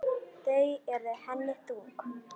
Þau eru henni þung.